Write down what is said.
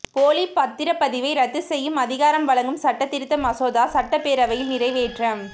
போலி பத்திரப்பதிவை ரத்து செய்யும் அதிகாரம் வழங்கும் சட்டத்திருத்த மசோதா சட்டப்பேரவையில் நிறைவேற்றம்